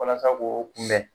Walasa k'o kunbɛn